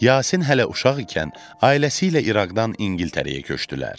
Yasin hələ uşaq ikən ailəsi ilə İraqdan İngiltərəyə köçdülər.